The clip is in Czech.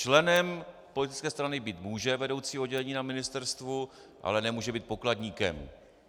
Členem politické strany být může vedoucí oddělení na ministerstvu, ale nemůže být pokladníkem.